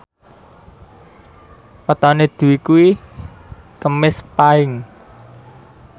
wetone Dwi kuwi Kemis Paing